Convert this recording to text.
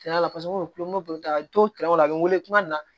a bɛ wele kuma min na